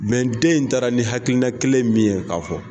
den in taara ni hakilina kelen min ye k'a fɔ